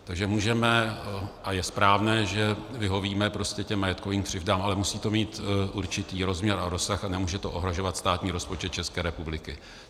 Takže můžeme, a je správné, že vyhovíme prostě těm majetkovým křivdám, ale musí to mít určitý rozměr a rozsah a nemůže to ohrožovat státní rozpočet České republiky.